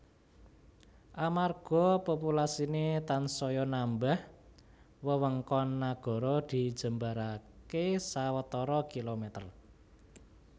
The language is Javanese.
Amarga populasiné tansaya nambah wewengkon nagara dijembaraké sawetara kilomèter